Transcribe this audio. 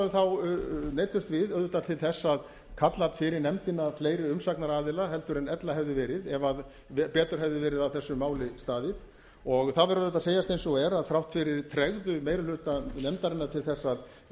þá neyddumst við auðvitað til þess að kalla fyrir nefndina fleiri umsagnaraðila heldur en ella hefði verið ef betur hefði verið að þessu máli staðið og það verður að segjast eins og er að þrátt fyrir tregðu meiri hluta nefndarinnar til þess að